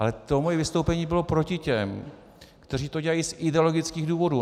Ale to moje vystoupení bylo proti těm, kteří to dělají z ideologických důvodů.